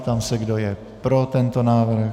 Ptám se, kdo je pro tento návrh.